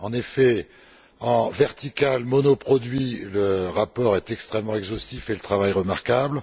En effet, en vertical, monoproduit, le rapport est extrêmement exhaustif et le travail remarquable.